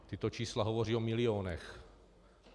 Tato čísla hovoří o milionech.